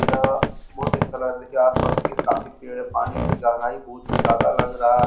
यह बहोत ही अच्छा लग रहा देखिए आस पास से काफी पेड़ है। पानी की गहराई बहोत ही ज्यादा लग रहा --